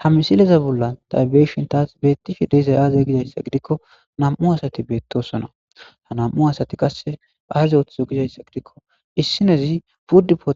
Ha.misileza bola ta be'ishitada betishe dizaysi aze gizaysa gidiko nam'u asati betosona ha nam'u asati qase azi ithizo gizaysa gidiko issinazi food for